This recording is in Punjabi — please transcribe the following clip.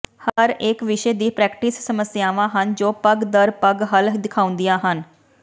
ਹਰੇਕ ਵਿਸ਼ੇ ਦੀ ਪ੍ਰੈਕਟਿਸ ਸਮੱਸਿਆਵਾਂ ਹਨ ਜੋ ਪਗ਼ ਦਰ ਪਗ਼ ਹੱਲ ਦਿਖਾਉਂਦੀਆਂ ਹਨ